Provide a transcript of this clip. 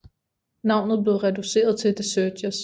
Navnet blev reduceret til The Searchers